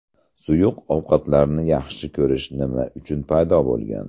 Suyuq ovqatlarni yaxshi ko‘rish nima uchun paydo bo‘lgan?